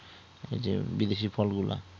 এইযে বিদেশী ফলগুলা